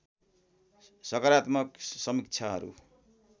सकारात्मक समीक्षाहरू